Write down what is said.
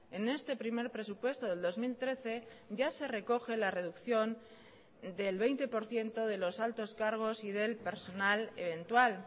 en este primer presupuesto del dos mil trece ya se recoge la reducción del veinte por ciento de los altos cargos y del personal eventual